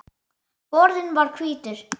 Borðinn var hvítur.